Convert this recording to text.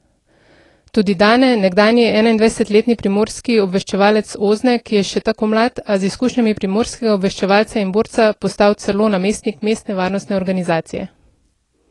Tudi Dane, nekdanji enaindvajsetletni primorski obveščevalec Ozne, ki je še tako mlad, a z izkušnjami primorskega obveščevalca in borca, postal celo namestnik mestne varnostne organizacije.